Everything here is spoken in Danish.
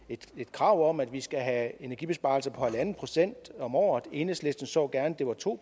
krav om at vi skal have energibesparelser på en procent om året enhedslisten så gerne at det var to